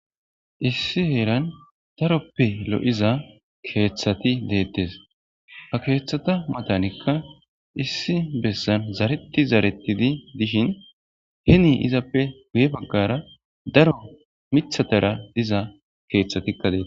issi heeran daroppe lo7iza keeththati deettes ha keeththata matanikka issi bessan zareti zarettidi dishin heni izappe guye baggara daro mithatara diza keeththatikka dees